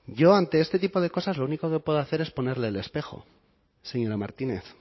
yo ante este tipo de cosas lo único que puedo hacer es ponerle el espejo señora martínez